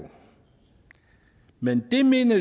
men det mener